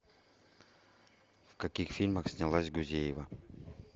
в каких фильмах снялась гузеева